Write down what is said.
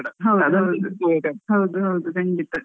ಹೌದು ಹೌದು ಖಂಡಿತ.